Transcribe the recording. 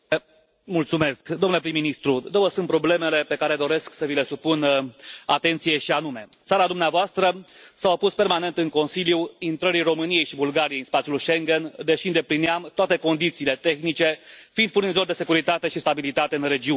Domnule președinte, domnule prim ministru, două sunt problemele pe care doresc să vi le supun atenției, și anume țara dumneavoastră s a opus permanent în Consiliu intrării României și Bulgariei în spațiul Schengen, deși îndeplineam toate condițiile tehnice, fiind furnizori de securitate și stabilitate în regiune.